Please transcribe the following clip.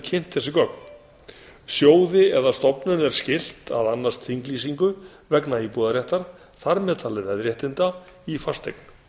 kynnt þessi gögn sjóði eða stofnun er skylt að annast þinglýsingu vegna íbúðarréttar þar með talin veðréttinda í fasteign